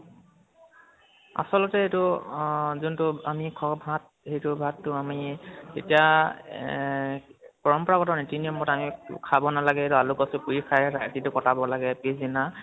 আছলতে এইটো অহ যোনটো আমি ভাত সেইটো ভাতটো আমি তেতিয়া এহ পৰম্পৰাগত নিতি নিয়ম মতে আমি খাব নালাগে এইটো আলু কচু পুৰি খাই ৰাতিটো কটাব লাগে পিছ্দিনা